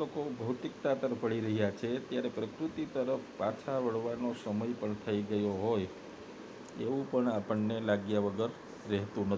લોકો ભૌતિકતા પડી રહ્યા છે ત્યારે પ્રકૃતિ તરફ પાછળ વળા નો સમય પણ થઈ ગયો હોય એવું પણ આપને લાગી વગર રહેતું નથી